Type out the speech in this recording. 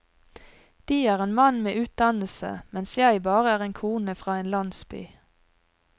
De er en mann med utdannelse, mens jeg bare er en kone fra en landsby.